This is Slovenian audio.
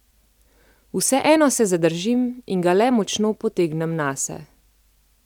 Vseeno se zadržim in ga le močno potegnem nase.